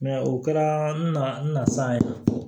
o kɛra na n na san ye